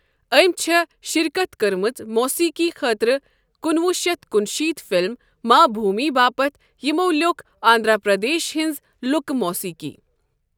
أمی چھےٚ شِرکَتھ کٕرمٕژ موٗسیقی خٲطرٕ کُنوُہ شیتھ کُنشیت فلم ماں بھوٗمی باپتھ یمو لیوٚکھ آندرا پردیش ہِنٛز لُکہٕ موٗسیقی.